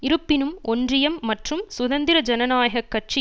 இருப்பினும் ஒன்றியம் மற்றும் சுதந்திர ஜனநாயக கட்சி